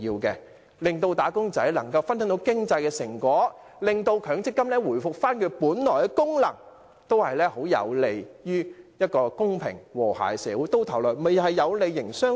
讓"打工仔"能分享經濟成果，令強積金回復本來的功能，均有利於締造一個公平和諧的社會，最終也有利營商環境。